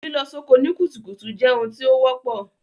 Lílọ soko ni kùtùkùtù je oun tí o wọ́pọ̀